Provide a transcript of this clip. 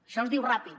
això es diu ràpid